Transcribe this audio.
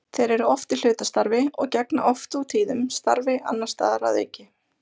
Þeir eru oft í hlutastarfi og gegna oft og tíðum starfi annars staðar að auki.